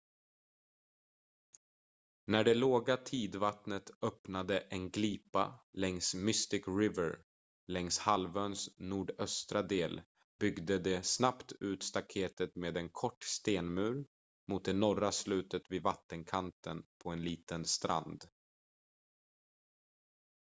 när det låga tidvattnet öppnade en glipa längs mystic river längs halvöns nordöstra del byggde de snabbt ut staktetet med en kort stenmur mot det norra slutet vid vattenkanten på en liten strand